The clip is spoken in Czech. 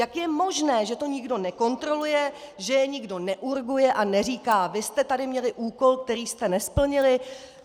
Jak je možné, že to nikdo nekontroluje, že je nikdo neurguje a neříká: vy jste tady měli úkol, který jste nesplnili?